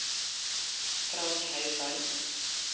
Frank Haugan